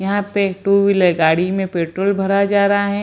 यहाँ पे two wheeler गाड़ी में पेट्रोल भड़ा जा रहा है।